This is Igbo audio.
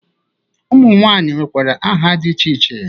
Ụmụnwaanyị nwekwara aha dị iche iche